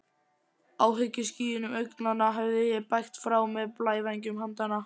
Áhyggjuskýjum augnanna hefði ég bægt frá með blævængjum handanna.